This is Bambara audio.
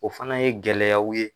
O fana ye gɛlɛyaw ye.